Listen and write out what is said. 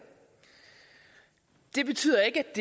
det betyder ikke at